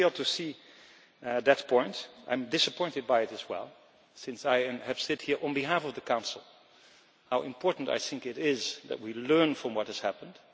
I fail to see that point and I am disappointed by it as well, since I have said here, on behalf of the Council, how important I think it is that we learn from what has happened.